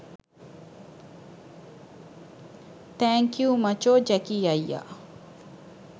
thank you මචෝ Jackie අයියා